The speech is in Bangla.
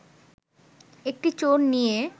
একটি চোর নিয়ে